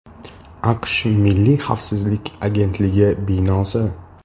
AQSh milliy xavfsizlik agentligi binosi.